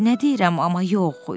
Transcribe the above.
"Nə deyirəm, amma yox.